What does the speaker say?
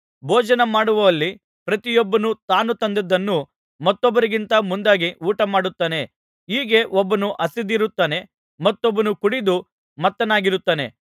ಭೋಜನ ಮಾಡುವಲ್ಲಿ ಪ್ರತಿಯೊಬ್ಬನು ತಾನು ತಂದದ್ದನ್ನು ಮತ್ತೊಬ್ಬರಿಗಿಂತ ಮುಂದಾಗಿ ಊಟಮಾಡುತ್ತಾನೆ ಹೀಗೆ ಒಬ್ಬನು ಹಸಿದಿರುತ್ತಾನೆ ಮತ್ತೊಬ್ಬನು ಕುಡಿದು ಮತ್ತನಾಗಿರುತ್ತಾನೆ